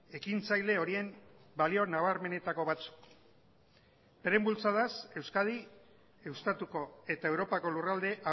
ekintzaileen horien balio nabarmenetako batzuk euren bultzadaz euskadi estatuko eta europako lurralde